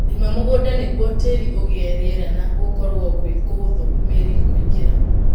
Rĩma mũgũnda nĩguo tĩri ũgĩe rĩera na gũkũrwo gwĩ kũhũthũ mĩri kũingĩra.